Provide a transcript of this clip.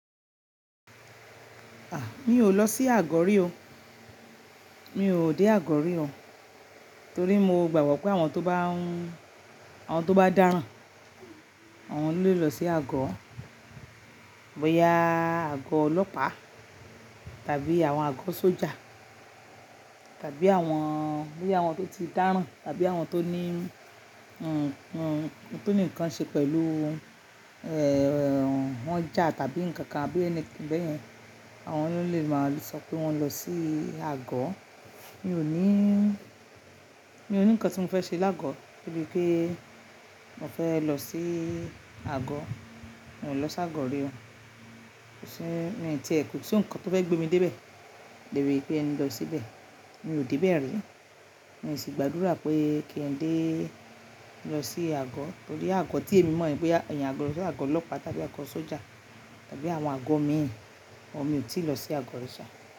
A! Mi ò lọ sí àgọ orí o. Mi ò dé àgọ orí o. Torí mo gbàgbọ́ pé àwọn tó bá ń, àwọn tó bá dáràn, àwọn ló lè lọ sí àgọ. Bóyá àgọ ọlọ́pàá tàbí àwọn àgọ sójà tàbí àwọn, bóyá àwọn tó ti dáràn tàbí àwọn tó ní, hm hm tó ní nǹkan ṣe pẹ̀lú, ẹ́ẹ́, wọ́n já tàbí nǹkan kan bí i ẹni kí bẹ́ẹ̀ yẹn, àwọn ló lè máa lè sọ pé wọ́n lọ sí àgọ. Mi ò ní, mi ò ní nǹkan tí mo fẹ́ ṣe lágo tó bí pé mo fẹ́ lọ sí àgọ. Mo ò lọ sí àgọ orí o. Kò sí, mo ń tẹ̀ẹ́kú tí òǹkà tó fẹ́ gbé mi dé ibẹ̀, débi pé ẹni lọ síbẹ̀. Mi ò dé bẹ́ẹ̀ rí. Mo sì gbàdúrà pé kí ẹn dé lọ sí àgọ, torí àgọ tí èmi mọ̀ ní pé ya, ìyẹn àgọ, àgọ ọlọ́pàá tàbí àgọ sójà tàbí àwọn àgọ mi, àmọn mi ò tí lọ sí àgọ rí ṣá.